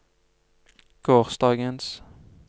gårsdagens